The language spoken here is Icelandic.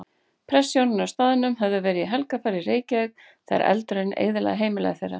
Prestshjónin á staðnum höfðu verið í helgarferð í Reykjavík þegar eldurinn eyðilagði heimili þeirra.